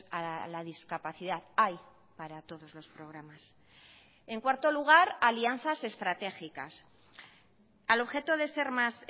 a la discapacidad hay para todos los programas en cuarto lugar alianzas estratégicas al objeto de ser más